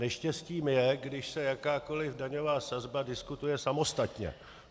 Neštěstím je, když se jakákoli daňová sazba diskutuje samostatně.